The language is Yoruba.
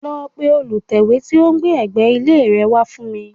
Lọ pe olùtẹ́wé tí ó ń gbé ẹ̀gbẹ́ ilé rẹ wá fún mi